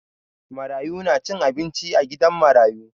Marayu na cin abinci a gidan marayu.